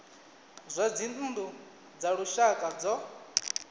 zwa dzinnu dza lushaka zwo